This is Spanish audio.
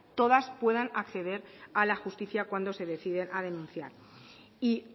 todas puedan acceder a la justicia cuando se deciden a denunciar y